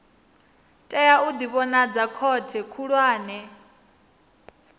tea u ḓivhonadza khothe khulwane